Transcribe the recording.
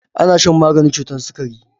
Ana shan maganin cutar sikari.